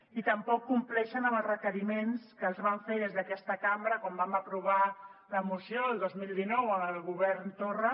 i tampoc compleixen amb els requeriments que els vam fer des d’aquesta cambra quan vam aprovar la moció el dos mil dinou amb el govern torra